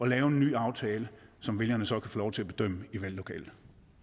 lave en ny aftale som vælgerne så kan få lov til at bedømme i valglokalet